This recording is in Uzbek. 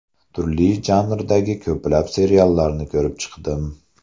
Turli janrdagi ko‘plab seriallarni ko‘rib chiqdim.